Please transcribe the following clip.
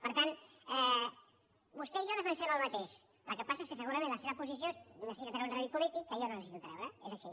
per tant vostè i jo defensem el mateix el que passa és que segurament la seva posició necessita treure un rèdit polític que jo no necessito treure és així